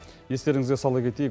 естеріңізге сала кетейік